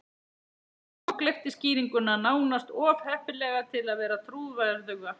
Hún kokgleypti skýringuna, nánast of heppilega til að vera trúverðuga.